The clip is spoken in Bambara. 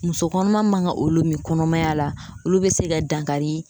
Muso kɔnɔma man ga olu mi kɔnɔmaya la olu be se ka dankari